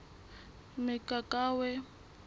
mokakawe